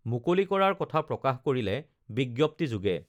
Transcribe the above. মুকলি কৰাৰ কথা প্ৰকাশ কৰিলে বিজ্ঞপ্তি যোগে